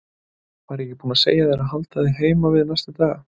Var ég ekki búinn að segja þér að halda þig heima við næstu daga?